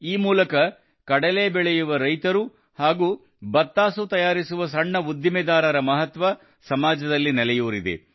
ಈ ಮೂಲಕ ಕಡಲೆ ಬೆಳೆಯುವ ರೈತರು ಹಾಗೂ ಬತ್ತಾಸು ತಯಾರಿಸುವ ಸಣ್ಣ ಉದ್ದಿಮೆದಾರರ ಮಹತ್ವ ಸಮಾಜದಲ್ಲಿ ನೆಲೆಯೂರಿದೆ